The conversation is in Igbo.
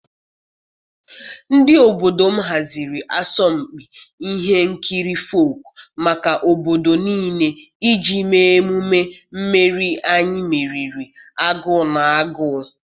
Ndị obodo m haziri asọmpi ihe nkiri folk maka obodo niile iji mee emume mmeri anyị meriri agụụ na agụụ.